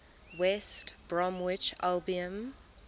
west bromwich albion